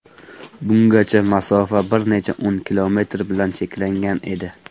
Bungacha masofa bir necha o‘n kilometr bilan cheklangan edi.